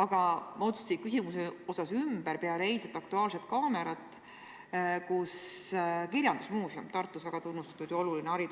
Ma mõtlesin oma küsimuse osas ümber peale eilset "Aktuaalset kaamerat", kus nägin, et Tartu kirjandusmuuseum, väga tunnustatud ja oluline